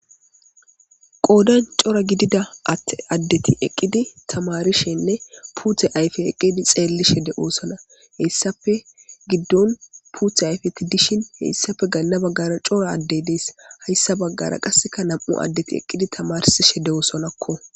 qoodan cora gidida att addeti eqqidi tamarishenne puuthe ayfe eqqidi xeelli shede oosona heyssafe giddon puuthe ayfeti dishin heyssafe ganna baggara cora addey dees hayssa baggara qasseka nam7u addeti eqqidi tamarsi shede oosonakko